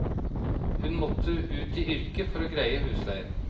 Hun måtte ut i yrke for å greie husleien.